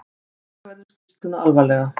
Taka verður skýrsluna alvarlega